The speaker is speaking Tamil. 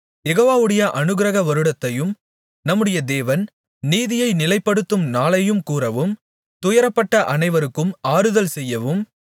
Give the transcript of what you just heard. யெகோவாவுடைய அநுக்கிரக வருடத்தையும் நம்முடைய தேவன் நீதியைநிலைப்படுத்தும் நாளையும் கூறவும் துயரப்பட்ட அனைவருக்கும் ஆறுதல்செய்யவும்